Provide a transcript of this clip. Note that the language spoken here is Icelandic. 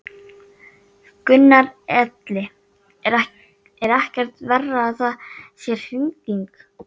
Gunnar Atli: Er ekkert verra að það sé rigning?